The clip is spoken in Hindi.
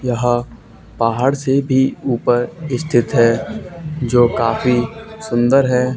यहां पहाड़ से भी ऊपर स्थित है जो काफी सुंदर है।